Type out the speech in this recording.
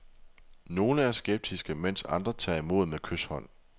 Nogle er skeptiske, mens andre tager imod med kyshånd.